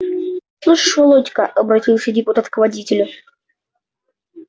слышишь володька обратился депутат к водителю